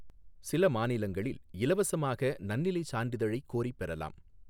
சில மாநிலங்களில் இலவசமாக நன்னிலைச் சான்றிதழை கோரிப் பெறலாம்.